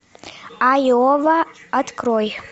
айова открой